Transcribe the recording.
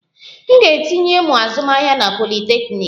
M ga-etinye ịmụ azụmahịa na politeknik